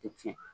Tɛ tiɲɛ